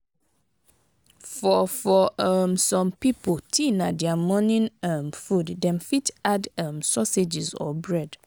for for um some pipo tea na their morning um food dem fit add um sausages or bread